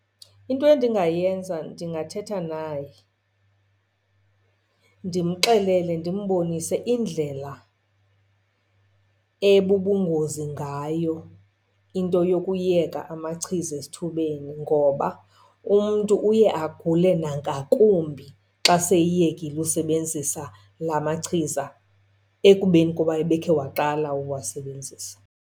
Into endingayenza ndingathetha naye ndimxelele, ndimbonise indlela ebubungozi ngayo into yokuyeka amachiza esithubeni. Ngoba umntu uye agule nangakumbi xa seyiyekile usebenzisa la machiza ekubeni kuba ebekhe waqala uwasebenzisa.